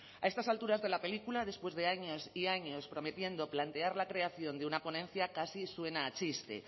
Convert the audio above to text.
a estas alturas de la película después de años y años prometiendo plantear la creación de una ponencia casi suena a chiste